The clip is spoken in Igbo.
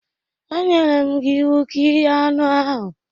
E nyere m gi iwu ka ighe anụ ahụ!